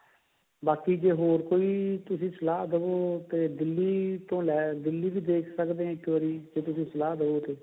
ਬਾਕੀ ਜੇ ਹੋਰ ਕੋਈ ਤੁਸੀਂ ਸਲਾਹ ਦਵੋ ਤੇ ਦਿੱਲੀ ਤੋਂ ਲੈ ਦਿੱਲੀ ਵੀ ਦੇਖ ਸਕਦੇ ਹਾਂ ਇੱਕ ਵਾਰੀ ਜੇ ਤੁਸੀਂ ਸਲਾਹ ਦਵੋ ਤਾਂ